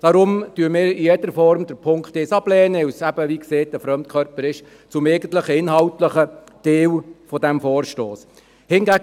Darum lehnen wir den Punkt 1 in jeder Form ab, da er eben – wie gesagt – ein Fremdkörper zum eigentlichen inhaltlichen Teil dieses Vorstosses ist.